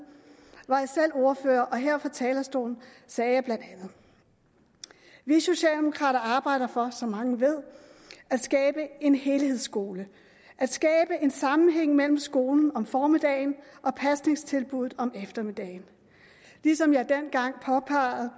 var jeg selv ordfører og her fra talerstolen sagde jeg bla vi socialdemokrater arbejder for som mange ved at skabe en helhedsskole at skabe en sammenhæng mellem skolen om formiddagen og pasningstilbuddet om eftermiddagen dengang påpegede